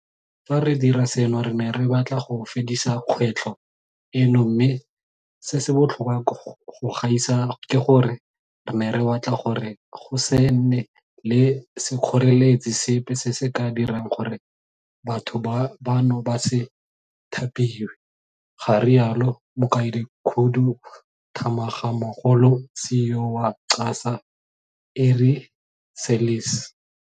Fa re dira seno re ne re batla go fedisa kgwetlho eno mme, se se botlhokwa go gaisa ke gore, re ne re batla gore go se nne le sekgoreletsi sepe se se ka dirang gore batho bano ba se thapiwe, ga rialo Mokaedikhuduthamagamogolo CEO wa QASA Ari Seirlis.